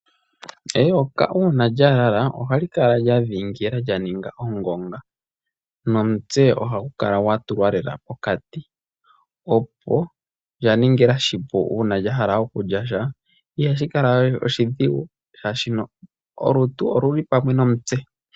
Eyoka uuna lya lala ohali kala lya dhiingila lya ninga ongonga. Nomutse ohagu kala gwa tulwa lela pokati opo lya ningila oshipu . Ihashi kala we oshidhigu shaa shi olutu oluli pamwe nomutse.